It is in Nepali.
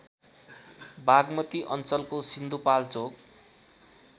बागमती अञ्चलको सिन्धुपाल्चोक